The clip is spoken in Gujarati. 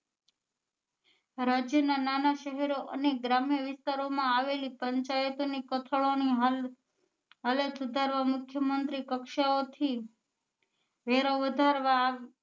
રાજ્ય ના નાના શહેરો અને ગ્રામ્ય વિસ્તારો માં આવેલી પંચાયતો ની કથાળો ની હાલ હલાત સુધારવા મુખ્ય મંત્રી કક્ષાઓ થી વેરા વધારવા